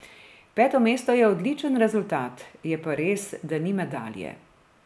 Peto mesto je odličen rezultat, je pa res, da ni medalje.